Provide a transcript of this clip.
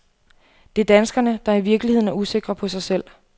Det er danskerne, der i virkeligheden er usikre på sig selv.